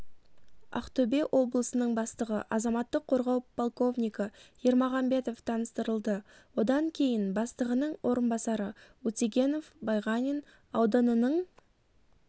ақтөбе облысының бастығы азаматтық қорғау полковнигі ермағамбетов таныстырылды одан кейін бастығының орынбасары утегенов байғанин ауданының